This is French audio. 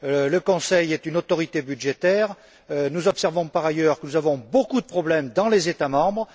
Le Conseil est une autorité budgétaire et nous observons, par ailleurs, que nous avons beaucoup de problèmes dans les États membres.